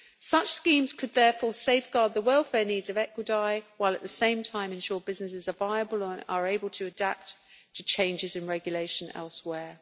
Such schemes could therefore safeguard the welfare needs of equidae while, at the same time, ensure businesses are viable and are able to adapt to changes in regulation elsewhere.